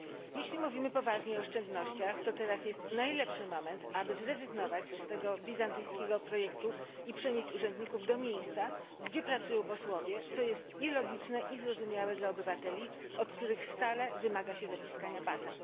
Jeśli mówimy poważnie o oszczędnościach, to teraz jest najlepszy moment, aby zrezygnować z tego bizantyjskiego projektu i przenieść urzędników do miejsca, gdzie pracują posłowie, co jest i logiczne, i zrozumiałe dla obywateli, od których stale wymaga się zaciskania pasa.